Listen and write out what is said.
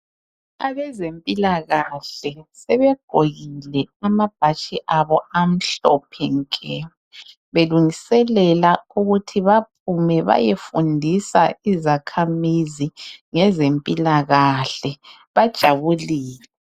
Abezempilakahle sebegqokile amabhatshi abo amhlophe nke belungiselela ukuthi baphume bayefundisa izakhamizi ngezempilakahle, bajabulile.